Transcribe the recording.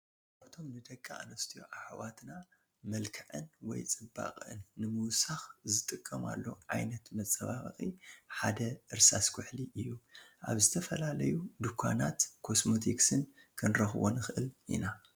ካብቶ ን ደቂ ኣንስትዮ ኣሕዋትና ምልክዐን ወይ ጽባቅአን ንምውሳክ ዝጥቅርማሉ ዓይነት መጸባብቂ ሓደ እርሳስ ኩሕሊ እዩ። ኣብ ዝተፈላለዩ ዱካናት ኮስሞቲክስን ክንረክቦ ንክእል ኢና።